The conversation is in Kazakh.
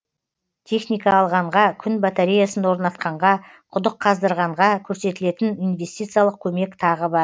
техника алғанға күн батареясын орнатқанға құдық қаздырғанға көрсетілетін инвестициялық көмек тағы бар